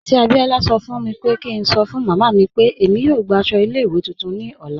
Aunty Abiola sọ́ pẹ̀ kí ǹ sọ́ fun màmá mi pe èmi yóò gbà àṣọ ilẹ̀-iwé tuntun mi lọ́lá.